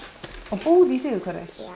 búð í síðuhverfi og